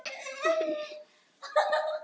Við skulum taka morgundaginn í þessar samræður.